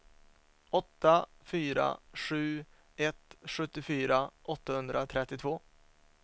åtta fyra sju ett sjuttiofyra åttahundratrettiotvå